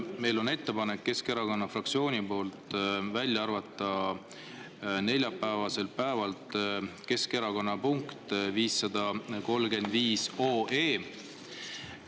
Meil on ettepanek, Keskerakonna fraktsioon soovib neljapäevasest päevakorrast välja arvata 535 OE.